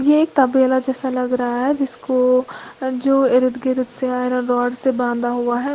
ये एक तबेला जैसा लग रहा है जिसको जो इर्द गिर्द से आयरन रॉड से बांधा हुआ है।